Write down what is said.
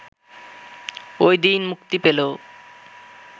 ওই দিন মুক্তি পেল